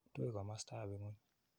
Tui komastap ing'ony.